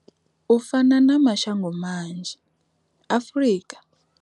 U fana na mashango manzhi, Afrika.